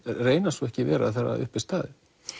reyna svo ekki vera þegar uppi er staðið